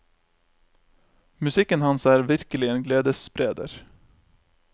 Musikken hans er virkelig en gledesspreder.